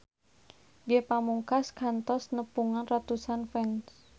Ge Pamungkas kantos nepungan ratusan fans